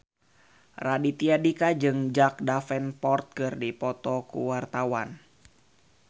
Raditya Dika jeung Jack Davenport keur dipoto ku wartawan